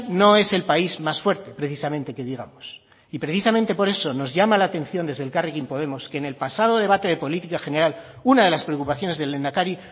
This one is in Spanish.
no es el país más fuerte precisamente que digamos y precisamente por eso nos llama la atención desde elkarrekin podemos que en el pasado debate de política general una de las preocupaciones del lehendakari